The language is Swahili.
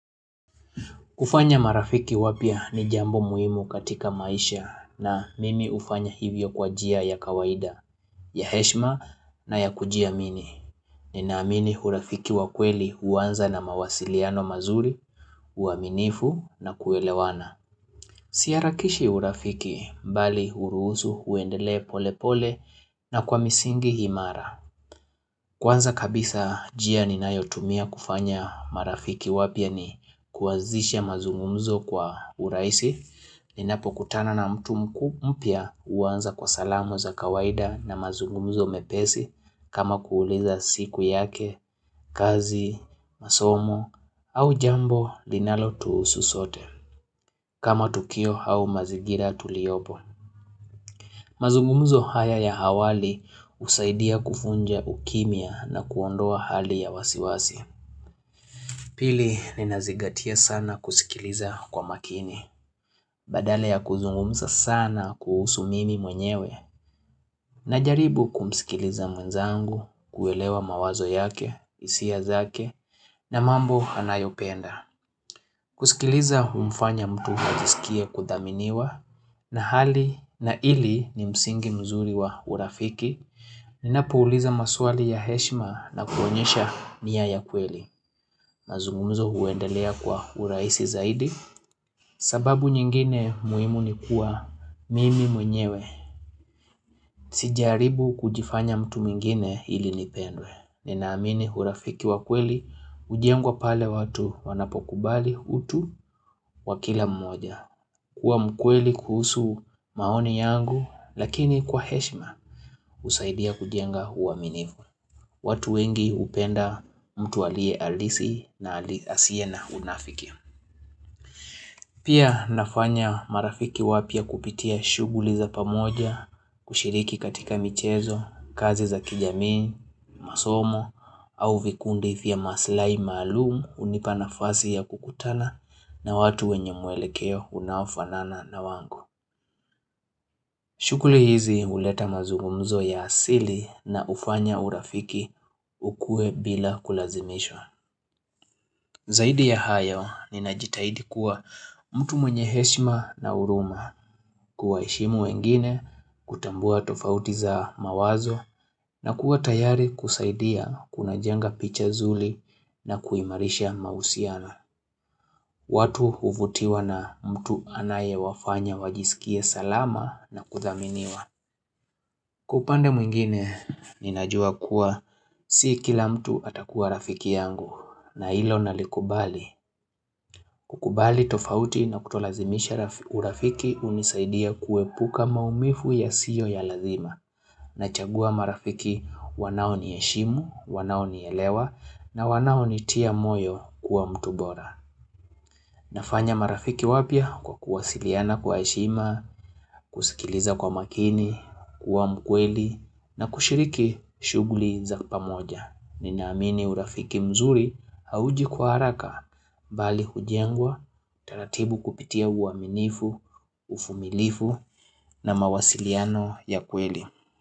Kufanya marafiki wapya ni jambo muhimu katika maisha na mimi hufanya hivyo kwa jia ya kawaida, ya heshma na ya kujiamini. Ninaamini hurafiki wa kweli huwanza na mawasiliano mazuri, uaminifu na kuelewana. Usiharakishe urafiki bali uruhusu uendelee pole pole na kwa misingi imara. Kwanza kabisa jia ninayotumia kufanya marafiki wapya ni kuazisha mazungumuzo kwa uraisi, ninapokutana na mtu mkuu mpya uwanza kwa salamo za kawaida na mazungumuzo mepesi kama kuuliza siku yake, kazi, masomo au jambo linalotuusu sote. Kama tukio hau mazigira tuliyopo. Mazungumzo haya ya hawali usaidia kufunja ukimia na kuondoa hali ya wasiwasi. Pili ninazigatia sana kusikiliza kwa makini. Badale ya kuzungumza sana kuhusu mimi mwenyewe. Najaribu kumsikiliza mwenzangu, kuelewa mawazo yake, isia zake, na mambo anayopenda. Kusikiliza humfanya mtu ajisikie kudhaminiwa na hali na ili ni msingi mzuri wa urafiki Ninapouliza maswali ya heshima na kuonyesha niya ya kweli mazungumuzo huendelea kwa uraisi zaidi sababu nyingine muhimu ni kuwa mimi mwenyewe Sijaribu kujifanya mtu mwingine ili nipendwe Ninaamini hurafiki wa kweli ujengwa pale watu wanapokubali utu wa kila mmoja kuwa mkweli kuhusu maoni yangu, lakini kwa heshima usaidia kujenga huwaminifu. Watu wengi upenda mtu alie alisi na asiye na unafiki. Pia nafanya marafiki wapya kupitia shuguli za pamoja, kushiriki katika michezo, kazi za kijamii, masomo, au vikundi vya maslai maalum unipa nafasi ya kukutana na watu wenye mwelekeo unaofanana na wangu. Shukuli hizi uleta mazungumzo ya asili na ufanya urafiki ukue bila kulazimishwa. Zaidi ya hayo ninajitaidi kuwa mtu mwenye heshima na uruma kuwaheshimu wengine kutambua tofauti za mawazo na kuwa tayari kusaidia kunajenga picha zuli na kuimarisha mausiana. Watu huvutiwa na mtu anayewafanya wajisikie salama na kuthaminiwa. Kwa upande mwingine, ninajua kuwa si kila mtu atakuwa rafiki yangu na ilo nalikubali. Kukubali tofauti na kutolazimisha urafiki unisaidia kuepuka maumifu yasiyo ya lazima. Nachagua marafiki wanaoniheshimu, wanaonielewa na wanaonitia moyo kuwa mtu bora. Nafanya marafiki wapya kwa kuwasiliana kwa heshima, kusikiliza kwa makini, kuwa mkweli na kushiriki shuguli za pamoja. Ninaamini urafiki mzuri hauji kwa haraka, bali hujengwa, taratibu kupitia uaminifu, ufumilifu na mawasiliano ya kweli.